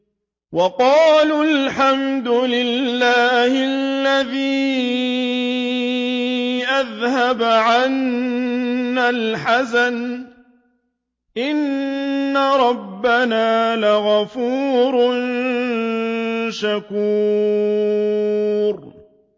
وَقَالُوا الْحَمْدُ لِلَّهِ الَّذِي أَذْهَبَ عَنَّا الْحَزَنَ ۖ إِنَّ رَبَّنَا لَغَفُورٌ شَكُورٌ